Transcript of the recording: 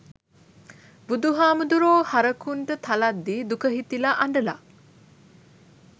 බුදු හාමුදුරුවෝ හරකුන්ට තලද්දී දුක හිතිලා අඬල?